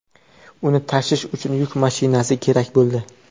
Uni tashish uchun yuk mashinasi kerak bo‘ldi.